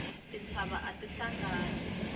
tintshava ati hlangani